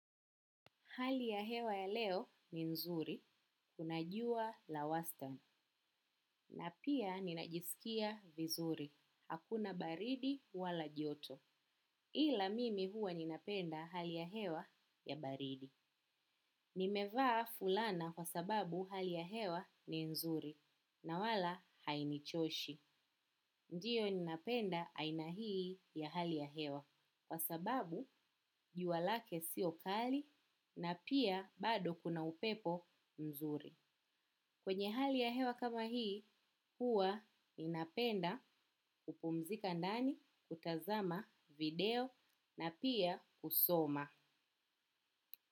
Hali ya hewa ya leo ni nzuri, kuna jua la wastan, na pia ninajisikia vizuri, hakuna baridi wala joto. Ila mimi huwa ninapenda hali ya hewa ya baridi. Nimevaa fulana kwa sababu hali ya hewa ni nzuri, na wala hainichoshi. Ndio ninapenda aina hii ya hali ya hewa kwa sababu jua lake sio kali na pia bado kuna upepo nzuri. Kwenye hali ya hewa kama hii, huwa ninapenda kupumzika ndani, kutazama, video na pia kusoma.